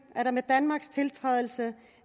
at der med danmarks tiltrædelse